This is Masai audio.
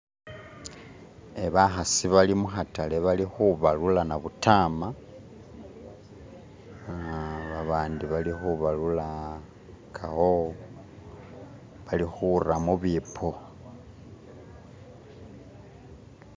Bakasi bali mukatale bali kubalula nabudama aa abandi balikubalula kawo balikuta mubibbo.